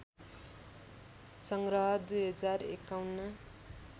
सङ्ग्रह २०५१